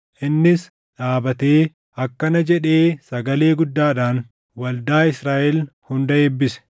Innis dhaabatee akkana jedhee sagalee guddaadhaan waldaa Israaʼel hunda eebbise: